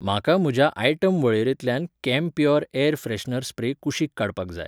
म्हाका म्हज्या आयटम वळेरेंतल्यान कैम्प्योर एयर फ्रेशनर स्प्रे कुशीक काडपाक जाय.